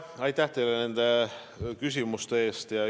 Aitäh teile nende küsimuste eest!